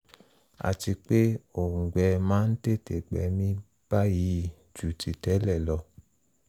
àti pé òùngbẹ máa tètè gbẹ mí báyìí ju ti tẹ́lẹ̀ lọ